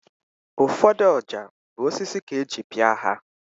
Ụfọdụ ọja bụ osisi ka eji pịa ha